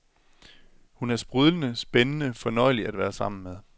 Hun er sprudlende, spændende, fornøjelig at være sammen med.